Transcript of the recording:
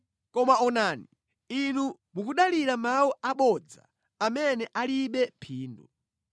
Koma onani, inu mukudalira mawu abodza amene alibe phindu.